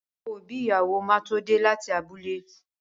Àwọn òbí ìyàwó máa tó dé láti abúlé.